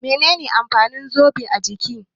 Me ne ne amfanin zobo a jiki?